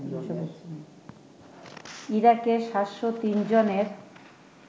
ইরাকে ৭০৩ জনের